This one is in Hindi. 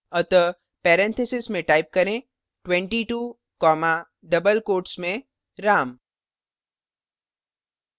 अतः parentheses में type करें 22 comma double quotes में ram